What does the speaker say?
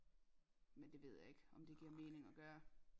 Men det ved jeg ikke om det giver mening at gøre